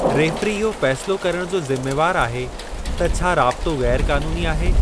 Referee इहो फ़ेसिलो करणु जो ज़िमेवार आहे त छा राबितो ग़ैरु क़ानूनी आहे।